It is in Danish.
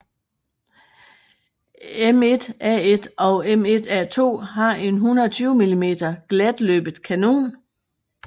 M1A1 og M1A2 har en 120 mm glatløbet kanon